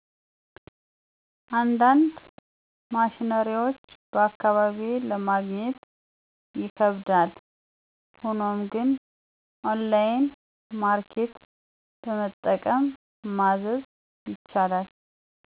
አንዳንድ ማሽነሪዎች በአካባቢየ ለማግኘት ይከብዳል ሆኖም ግን ኦንላይን ማርኬት በመጠቀም ማዘዝ ይቻላል።